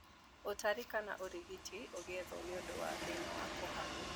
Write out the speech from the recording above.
Ũtari kana ũrigiti ũgĩethwo nĩũndũ wa thĩna wa kũharwo